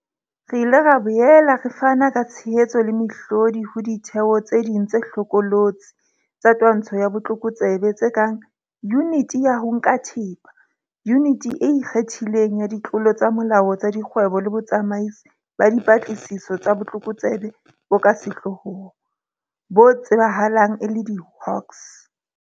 Re ile ra boela re fana ka tshehetso le mehlodi ho ditheo tse ding tse hlokolotse tsa twantsho ya botlokotsebe tse kang Yuniti ya ho Nka Thepa, Yuniti e Ikgethileng ya Ditlolo tsa Molao tsa Dikgwebo le Botsamaisi ba Dipatlisiso tsa Botlokotsebe bo ka Sehlohlolong, bo tsebahalang e le diHawks.